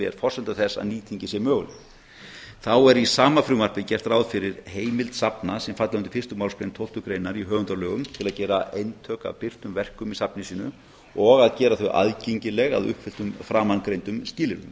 er forsenda þess að nýtingin sé möguleg þá er í sama frumvarpi gert ráð fyrir heimild safna sem falla undir fyrstu málsgrein tólftu greinar í höfundalögum til að gera eintök af birtum verkum í safni sínu og að gera þau aðgengileg að uppfylltum framangreindum skilyrðum